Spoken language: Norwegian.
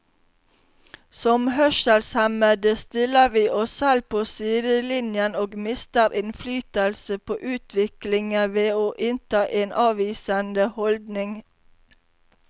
Som hørselshemmede stiller vi oss selv på sidelinjen og mister innflytelse på utviklingen ved å innta en avvisende holdning.